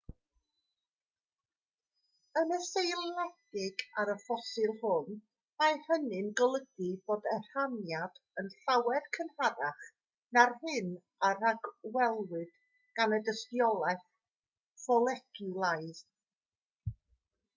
yn seiliedig ar y ffosil hwn mae hynny'n golygu bod y rhaniad yn llawer cynharach na'r hyn a ragwelwyd gan y dystiolaeth foleciwlaidd